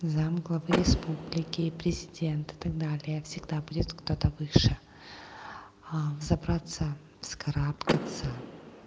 зам главы республики президента так далее всегда будет кто-то выше забраться вскарабкаться